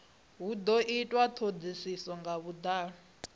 do itwa thodisiso nga vhudalo